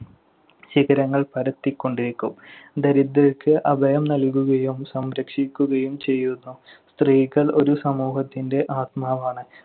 ശിഖരങ്ങൾ പരത്തിക്കൊണ്ടിരിക്കും. ദരിദ്രർക്ക് അഭയം നൽകുകയും സംരക്ഷിക്കുകയും ചെയ്യുന്നു. സ്ത്രീകൾ ഒരു സമൂഹത്തിന്‍റെ ആത്മാവാണ്.